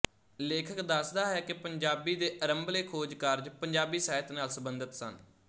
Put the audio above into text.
ਲੇਖਕ ਦੱਸਦਾ ਹੈ ਕਿ ਪੰਜਾਬੀ ਦੇ ਆਰੰਭਲੇ ਖੋਜ ਕਾਰਜ ਪੰਜਾਬੀ ਸਾਹਿਤ ਨਾਲ ਸੰਬੰਧਿਤ ਸਨ